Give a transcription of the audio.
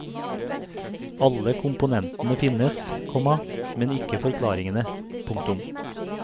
Alle komponentene finnes, komma men ikke forklaringene. punktum